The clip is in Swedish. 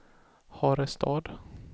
Harestad